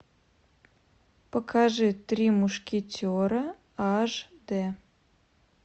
покажи три мушкетера аш д